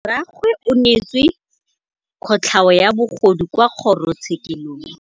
Rragwe o neetswe kotlhaô ya bogodu kwa kgoro tshêkêlông.